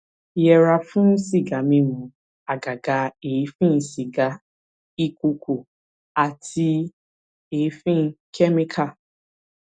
yẹra fún sìgá mímu àgàgà èéfín sìgá ìkuukù àti èéfín kẹmíkà